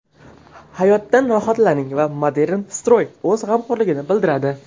Hayotdan rohatlaning va Modern Stroy o‘z g‘amxo‘rligini bildiradi.